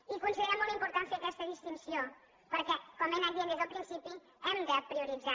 i considerem molt important fer aquesta distinció perquè com he anat dient des del principi hem de prioritzar